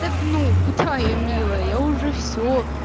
так ну куда я милая я уже всё